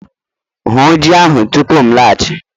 Hun ji ahụ tupu m laghachi!